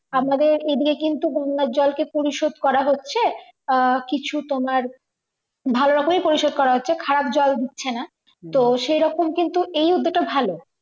আমাদের এইদিকে কিন্তু গঙ্গার জলকে কিন্তু পরিশোধ করা হচ্ছে আহ কিছু তোমার ভালো করেই পরিষদ করা হচ্ছে খারাপ জল দিচ্ছে না তো সেইরকম কিন্তু এই উদ্যোগটা ভালো